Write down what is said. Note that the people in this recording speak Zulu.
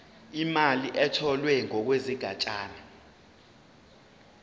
imali etholwe ngokwesigatshana